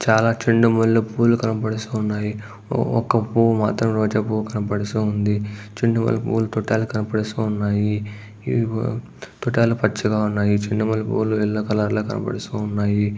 చాలా చెండు మల్లె పూలు కనపడుసున్నాయి. ఊ ఒక పూవు మాత్రం రోజా పూవు కనపడుసుంది. చెండు మల్లె పూవుల తొడాలు కనపడుసున్నాయి. ఇవి తొడాలు పచ్చగా ఉన్నాయి. చెండు మల్లె పూలు ఎల్లో కలర్ లో కనపడుసున్నాయి.